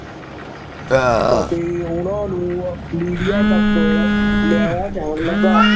ਅਤੇ ਉਹਨਾਂ ਨੂੰ ਮੰਡੀਆਂ ਤੱਕ ਲਿਆਇਆ ਜਾਣ ਲੱਗਾ।